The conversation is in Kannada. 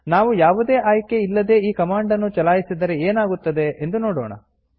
ನಾವು ಯಾವುದೇ ಆಯ್ಕೆ ಇಲ್ಲದೇ ಈ ಕಮಾಂಡ್ ನ್ನು ಚಲಾಯಿಸಿದರೆ ಏನಾಗುತ್ತದೆ ಎಂದು ನೋಡೋಣ